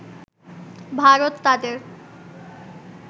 ভারত তাদের